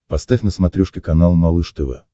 поставь на смотрешке канал малыш тв